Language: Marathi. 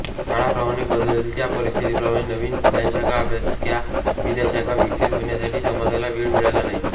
काळाप्रमाणे बदलत्या परिस्थितीप्रमाणे नवीन ज्ञानशाखा अभ्यासशाखा विद्याशाखा विकसित होण्यासाठी समाजाला वेळ मिळाला नाही